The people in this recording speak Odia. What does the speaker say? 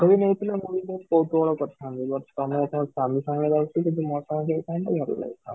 ଯଦି ମୁଁ ଥିଲେ ମୁଁ ବି ବହୁତ କୌତୁହଳ କରି ଥାନ୍ତି but ତମେ ତମ ସ୍ବାମୀ ସାଙ୍ଗରେ ଯାଉଛ ଯଦି ମୋ ସାଙ୍ଗରେ ଯାଇ ଥାଆନ୍ତ ଭଲ ଲାଗି ଥାଆନ୍ତା